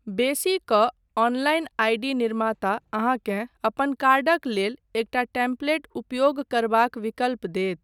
बेसी कऽ online ID. निर्माता अहाँकेँ अपन कार्डक लेल एकटा टेम्पलेटक उपयोग करबाक विकल्प देत।